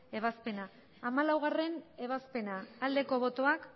ebazpena hamalaugarrena ebazpena aldeko botoak